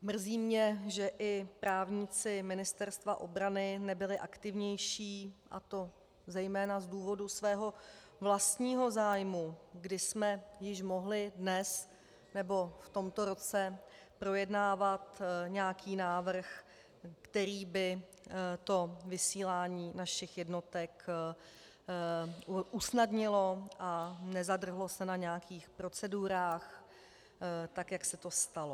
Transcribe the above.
Mrzí mě, že i právníci Ministerstva obrany nebyli aktivnější, a to zejména z důvodu svého vlastního zájmu, kdy jsme již mohli dnes nebo v tomto roce projednávat nějaký návrh, který by to vysílání našich jednotek usnadnil, a nezadrhlo se na nějakých procedurách tak, jak se to stalo.